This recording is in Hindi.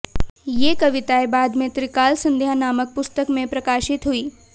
ये कविताएं बाद में त्रिकाल सन्ध्या नामक पुस्तक में प्रकाशित हुईं